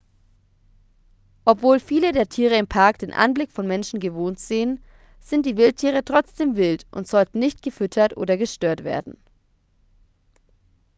obwohl viele der tiere im park den anblick von menschen gewohnt sehen sind die wildtiere trotzdem wild und sollten nicht gefüttert oder gestört werden